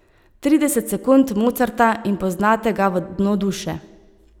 Trideset sekund Mozarta in poznate ga v dno duše.